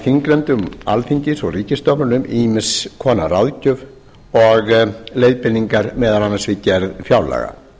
þingnefndum alþingis og ríkisstofnunum ýmiss konar ráðgjöf og leiðbeiningar meðal annars við gerð fjárlaga